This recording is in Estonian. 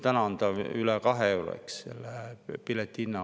Täna on ta üle kahe euro, eks.